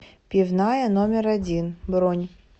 пивная номер один бронь